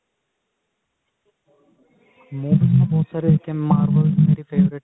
ਮੇਰੀ ਇੱਕ